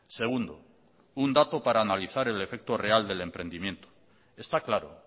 segundo un dato para analizar el efecto real del emprendimiento está claro